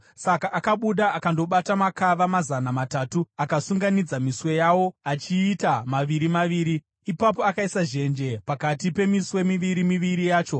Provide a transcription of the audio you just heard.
Saka akabuda akandobata makava mazana matatu akaasunganidza miswe yawo achiita maviri maviri. Ipapo akaisa zhenje pakati pemiswe miviri miviri yacho.